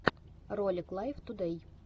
ролик лайв тудэй